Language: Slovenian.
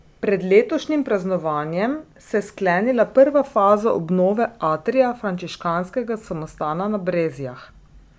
Pred letošnjim praznovanjem se je sklenila prva faza obnove atrija frančiškanskega samostana na Brezjah.